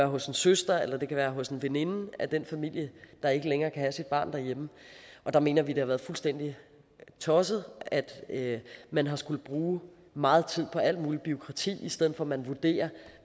hos en søster eller det kan være hos en veninde af den familie der ikke længere kan have sit barn derhjemme der mener vi at det har været fuldstændig tosset at at man har skullet bruge meget tid på alt muligt bureaukrati i stedet for at man vurderer